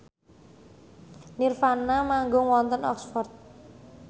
nirvana manggung wonten Oxford